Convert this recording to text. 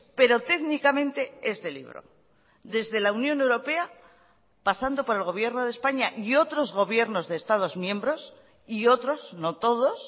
pero técnicamente es de libro desde la unión europea pasando por el gobierno de españa y otros gobiernos de estados miembros y otros no todos